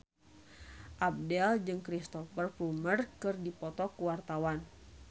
Abdel jeung Cristhoper Plumer keur dipoto ku wartawan